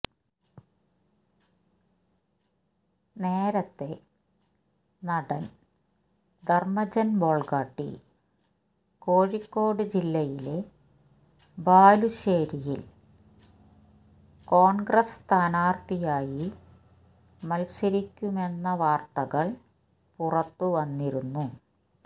നേരത്തെ നടൻ ധർമജൻ ബോൾഗാട്ടി കോഴിക്കോട് ജില്ലയിലെ ബാലുശ്ശേരിയിൽ കോൺഗ്രസ് സ്ഥാനാർത്ഥിയായി മത്സരിക്കുമെന്ന വാർത്തകൾ പുറത്തുവന്നിരുന്നു